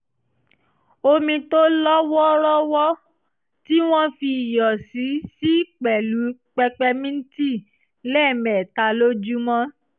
omi tó lọ́ wọ́ọ́rọ́wọ́ tí wọ́n fi iyọ̀ sí sí pẹ̀lú pẹpẹmíǹtì lẹ́ẹ̀mẹta lójúmọ́